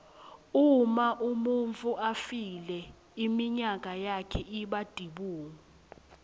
uma umuntfu afile inyama yakhe iba tibungu